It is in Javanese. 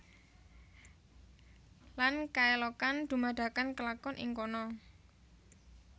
Lan kaelokan dumadakan kelakon ing kono